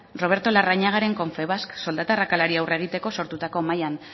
roberto larrañagaren confebask soldata arrakalari aurre egiteko sortutako mahaian